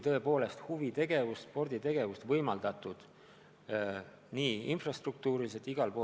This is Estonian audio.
Huvitegevus, sporditegevus peab olema infrastruktuuriliselt võimaldatud.